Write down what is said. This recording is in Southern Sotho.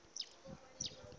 tse ding le tse ding